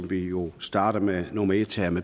vi jo starter her med nummer et